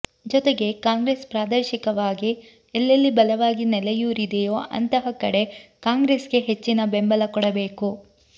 ಜೊತೆಗೆ ಕಾಂಗ್ರೆಸ್ ಪ್ರಾದೇಶಿಕವಾಗಿ ಎಲ್ಲೆಲ್ಲಿ ಬಲವಾಗಿ ನೆಲೆಯೂರಿದೆಯೋ ಅಂತಹ ಕಡೆ ಕಾಂಗ್ರೆಸ್ಗೆ ಹೆಚ್ಚಿನ ಬೆಂಬಲ ಕೊಡಬೇಕು